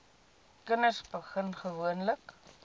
kinders begin gewoonlik